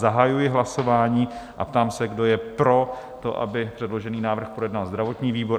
Zahajuji hlasování a ptám se, kdo je pro to, aby předložený návrh projednal zdravotní výbor?